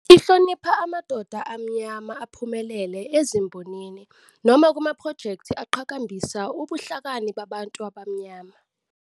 Ihlonipha amadoda aMnyama aphumelele ezimbonini noma kumaphrojekthi aqhakambisa ubuhlakani babantu abamnyama.